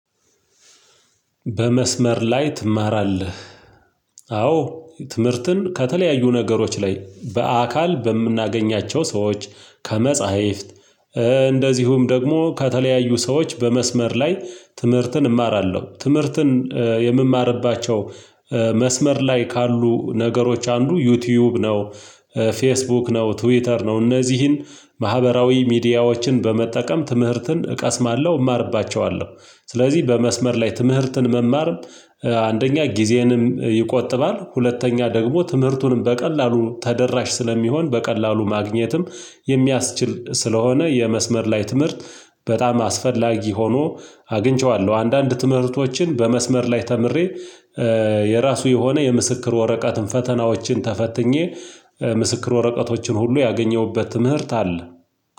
በመስመር ላይ ትማራለህ? አዎ ትምህርትን ከተለያዩ ነገሮች ላይ በአካል በምናገኛቸው ሰዎች ከመጽሕፍት እንደዚሁም ደግሞ ከተለያዩ ሰዎች በመስመር ላይ ትምህርትን እማራለው ትምህርትን የምማርባቸው መስመር ላይ ካሉ ነገሮች አንዱ ዩቲዩብ ነው። ፌስቡክ ነው ትዊተር ነው። እነዚህን ማህበራዊ ሚዲያዎችን በመጠቀም ትምህርትን እቀስማለሁ እማርባቸዋለሁ ስለዚህ በመስመር ላይ ትምህርትን መማር አንደኛ ጊዜንም ይቆጥባል ሁለተኛ ደግሞ ትምህርቱንም በቀላሉ ተደራሽ ስለሚሆን በቀላሉ ማግኘትም የሚያስችል ስለሆነ የመስመር ላይ ትምህርት በጣም አስፈላጊ ሆኖ አግኝቼዋለው አንዳንድ ትምህርቶችን በመስመር ላይ ተምሬ የራሱ የሆነ የምስክር ወረቀትን ፈተናዎችን ተፈትኜ ምስክር ወረቀቶችን ሁሉ ያገኘሁበት ትምህርት አለ